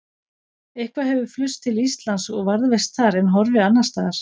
Eitthvað hefur flust til Íslands og varðveist þar en horfið annars staðar.